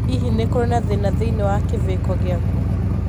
Hihi nĩ kũrĩ na thĩna thĩinĩ wa kĩviko Gĩaku?